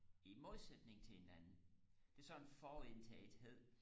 i modsætning til hinanden det er sådan en forudindtagethed